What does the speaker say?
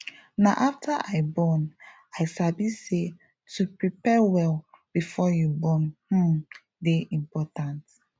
na after i born i sabi say to prepare well before you born um dey important